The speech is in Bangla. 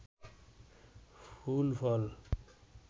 ফুল ফল